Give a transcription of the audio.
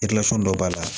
dɔ b'a la